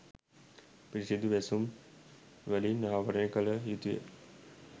පිරිසුදු වැසුම් වලින් ආවරණය කළ යුතුය.